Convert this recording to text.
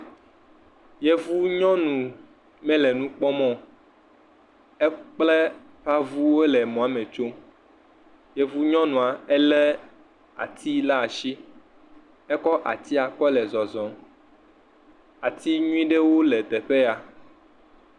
Yevu nyɔnu aɖe me nu kpɔm o. Wo kple eƒe avu ye le mɔ me tsom. Yevu nyɔnua ele ati ɖe asi. Ekɔ atia kple zɔzɔm. Ati nyuie aɖe le teƒe ya.